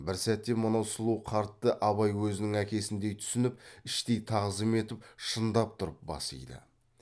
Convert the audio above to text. бір сәтте мынау сұлу қартты абай өзінің әкесіндей түсініп іштей тағзым етіп шындап тұрып бас иді